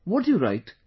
What do you write